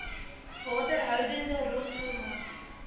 waterhoudende rotsformasies